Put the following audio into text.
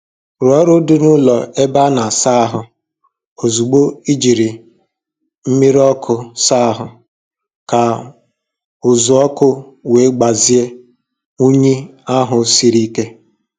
Rụọ ọrụ dị n'ụlọ ebe a na - asa ahụ ozugbo e jiri mmiri ọkụ saa ahụ, ka uzu ọkụ wee gbazia unyi ahụ siri ike.